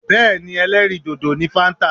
Bẹ́ẹ̀ni ẹlẹ́rìì dòdò ni fáńtà.